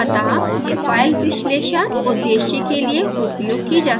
अतः यह फाइल विश्लेषण उद्देश्य के लिए उपयोग की जा सकती है